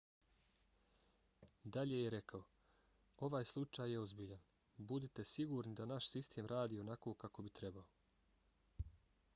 dalje je rekao: ovaj slučaj je ozbiljan. budite sigurni da naš sistem radi onako kako bi trebao.